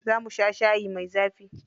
Za mu sha shayi mai zafi.